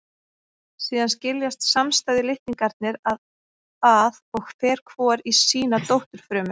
Síðan skiljast samstæðu litningarnir að og fer hvor í sína dótturfrumu.